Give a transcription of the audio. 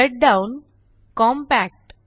shutdown compact